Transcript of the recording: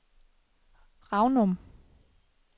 Ranum